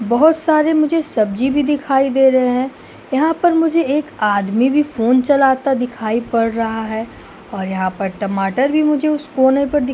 बहोत सारे मुझे सब्जी भी दिखाई दे रहे हैं। यहाँ मुझे एक आदमी भी फ़ोन चलाता दिखाई पड़ रहा है और यहाँ पर टमाटर भी मुझे उस कोने पर दिख --